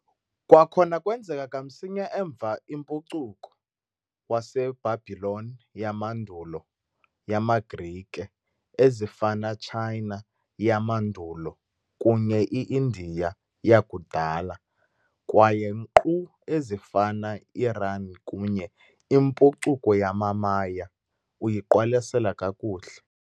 Kwakhona kwenzeka kamsinya emva impucuko, waseBhabhiloni yamandulo yamaGrike, ezifana China yamandulo kunye i-Indiya yakudala, kwaye nkqu ezifana Iran kunye impucuko yamaMaya, uyiqwalasela kakuhle